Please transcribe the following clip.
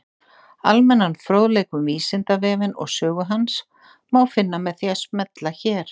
Almennan fróðleik um Vísindavefinn og sögu hans má finna með því að smella hér.